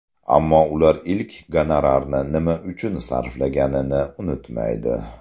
Ammo ular ilk gonorarni nima uchun sarflaganini unutmaydi.